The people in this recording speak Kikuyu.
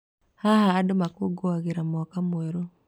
Haha, andũ makũũngũagĩra mwaka mwerũ.